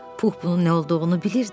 Pux bunun nə olduğunu bilirdi.